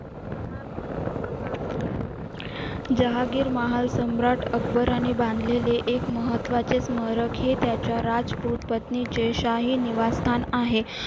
जहागीर महासम्राट अकबर याने बांधलेले एक महत्त्वाचे स्मारक हे त्याच्या राजपूत पत्नीचे शाही निवासस्थान आहे